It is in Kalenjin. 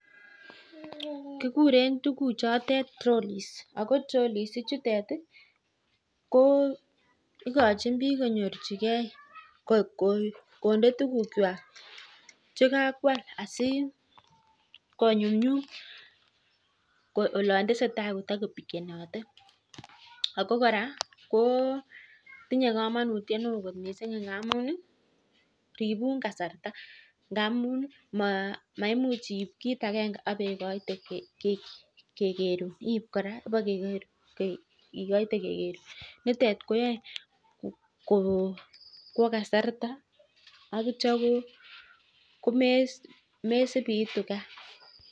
Kikuree tuguk chotok (trolleys) ako ikochin bik kondee tuguk kwak che kakwal asikonyunyum olatesetai kwalishek ako ribei kasarta